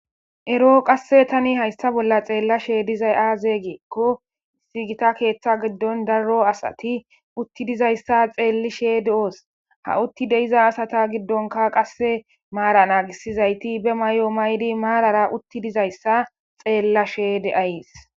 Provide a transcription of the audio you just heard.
ero qasse tani hayssa bolla xeellashe dizay aaze gikkko gita keeththa giddon daro asati utti dizayssa xeellishee de7osna utti deiza asata giddonka qasse maara naagisizayti be may7o maydi maarara utti dizayssa xeella sheede7ayees